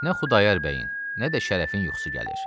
Nə Xudayar bəyin, nə də Şərəfin yuxusu gəlir.